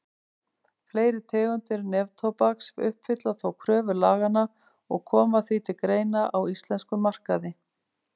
Fleiri tegundir neftóbaks uppfylla þó kröfur laganna og koma því til greina á íslenskum markaði.